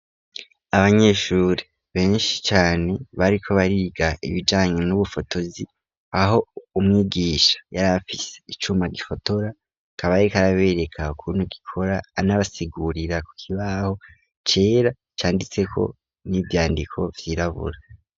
Abanyeshuri benshi cane bariko bariga ibijanye n'ubufotozi aho umwigisha yari afise icuma gifotora akaba ariko arabereka ukuntu gikora anabasigurira kukibaho cera canditseko n'ivyandiko vyirabura.